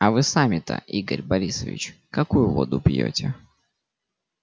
а вы сами-то игорь борисович какую воду пьёте